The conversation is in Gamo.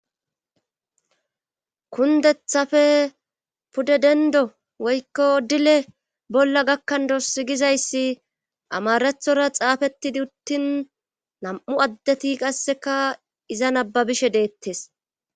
Kundethafe pude dendo woykko dile bolla gakkandossi gizayssi amarathora xaafettidi uttin nam'u addeti qasseka iza nababishe deettes.